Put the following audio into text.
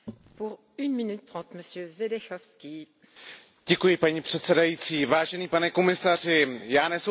Vážený pane komisaři, já nesouhlasím s tím, co tady řekl předřečník, protože to jsou opravdu nesmysly.